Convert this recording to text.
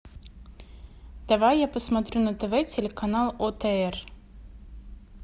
давай я посмотрю на тв телеканал отр